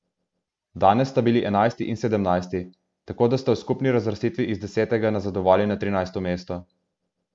Danes sta bili enajsti in sedemnajsti, tako da sta v skupni razvrstitvi iz desetega nazadovali na trinajsto mesto.